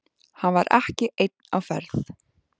Hann var ekki einn á ferð.